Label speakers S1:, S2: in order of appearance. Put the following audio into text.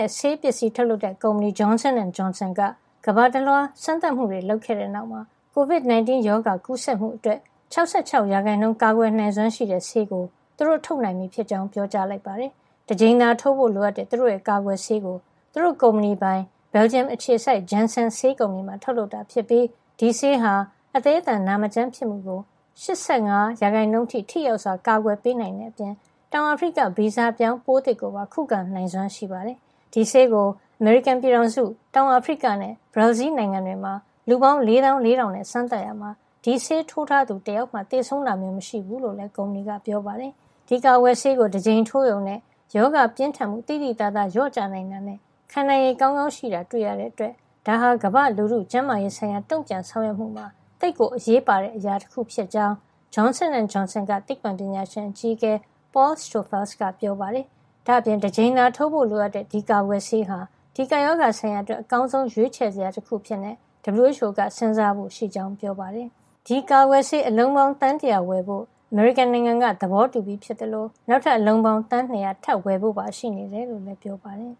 S1: ဲ့ဆေးပစ္စည်းထုတ်လုပ်တဲ့ ကုမ္ပဏီ Johnson & Johnson က ကမ္ဘာတလွှား စမ်းသပ်မှုတွေ လုပ်ခဲ့တဲ့နောက်မှာ COVID-19 ရောဂါကူးစက်မှုအတွက် ၆၆ ရာခိုင်နှုန်း ကာကွယ်နိုင်စွမ်းရှိတဲ့ ဆေးကို သူတို့ထုတ်နိုင်ပြီဖြစ်ကြောင်း ပြောကြားလိုက်ပါတယ်။ တကြိမ်သာထိုးဖို့ လိုအပ်တဲ့ သူတို့ရဲ့ ကာကွယ်ဆေးကို သူတို့ကုမ္ပဏီပိုင် Belgian အခြေစိုက် Janssen ဆေးကုမ္ပဏီမှာ ထုတ်လုပ်တာ ဖြစ်ပြီး ဒီဆေးဟာ အသည်းအသန်နာမကျန်းဖြစ်မှုကို ၈၅ % အထိ ထိရောက်စွာ ကာကွယ်ပေးနိုင်တဲ့အပြင် တောင်အာဖရိက ဗီဇပြောင်း ပိုးသစ်ကိုပါ ခုခံနိုင်စွမ်း ရှိပါတယ်။ ဒီဆေးကို အမေရိကန်ပြည်ထောင်စု၊ တောင်အာဖရိကနဲ့ ဘရာဇီးလ် နိုင်ငံတွေမှာ လူပေါင်း ၄၄,၀၀၀ နဲ့စမ်းသပ်ရာမှာ ဒီဆေးထိုးထားသူ တယောက်မှ သေဆုံးတာမျိုး မရှိဘူးလို့လည်း ကုမ္ပဏီက ပြောပါတယ်။ ဒီကာကွယ်ဆေးကို တကြိမ်ထိုးရုံနဲ့ ရောဂါပြင်းထန်မှု သိသိသာ လျော့ကျနိုင်တာနဲ့ ခံနိုင်ရည် ကောာင်းကောင်းရှိတာ တွေ့ရတဲ့အတွက် ဒါဟာ ကမ္ဘာ့လူထုကျန်းမာရေးဆိုင်ရာ တုံ့ပြန်ဆောင်ရွက်မှုမှာ သိပ်ကို အရေးပါတဲ့ အရာတခု ဖြစ်ကြောင်း Johnson & Johnson က သိပ္ပွံပညာရှင်အကြီးအကဲ Paul Stoffels ကပြောပါတယ်။ ဒါ့အပြင် တကြိမ်သာထိုးဖို့ လိုအပ်တဲ့ ဒီကာကွယ်ဆေးဟာ ဒီကပ်ရောဂါဆိုင်ရာအတွက် အကောင်းဆုံးရွေးချယ်စရာတခု အဖြစ် WHO က စဉ်းစားဖို့ရှိကြောင်းလည်း ပြောပါတယ်။ ဒီကာကွယ်ဆေး အလုံးပေါင်း သန်းတရာ ဝယ်ယူဖို့ အမေရိကန်နိုင်ငံက သဘောတူပြီးဖြစ်သလို နောက်ထပ် အလုံးပေါင်း သန်း ၂၀၀ ထပ်ဝယ်ဖို့ပါ ရှိနေတယ်လို့လည်း ပြောပါတယ်။